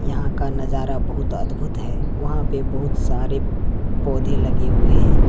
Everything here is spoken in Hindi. यहा का नजारा बहुत अद्भुत है। वहा पे बहुत सारे पौधे लगे हुए है।